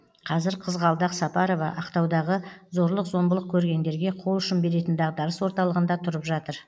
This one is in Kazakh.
қазір қызғалдақ сапарова ақтаудағы зорлық зомбылық көргендерге қолұшын беретін дағдарыс орталығында тұрып жатыр